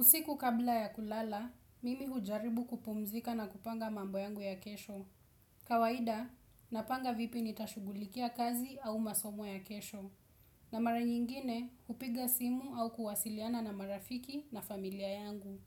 Usiku kabla ya kulala, mimi hujaribu kupumzika na kupanga mambo yangu ya kesho. Kawaida, napanga vipi nitashughulikia kazi au masomo ya kesho. Na mara nyingine hupiga simu au kuwasiliana na marafiki na familia yangu